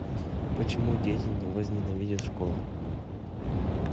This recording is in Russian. почему дети не возненавидят школу